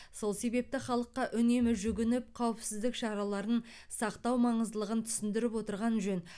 сол себепті халыққа үнемі жүгініп қауіпсіздік шараларын сақтау маңыздылығын түсіндіріп отырған жөн